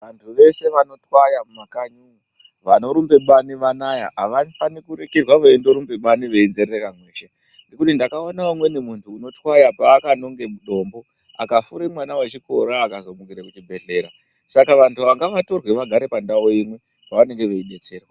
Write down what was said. Vantu veshe vanotwaya mumakanyimu, vanorumbe bani vanaya avafani kundorekerwa veindorumbe bani veinzerereka mweshe, ngekuti ndakaona umweni munhu unotwaya ,paakanonge dombo, akafure mwana wechikora akazomukire kuchibhedhlera .Saka vantu ava ngavatorwe vagare pandau imwe ,pavanenge veidetserwa.